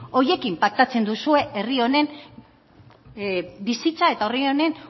horiekin paktatzen duzue herri honen bizitza eta herri honen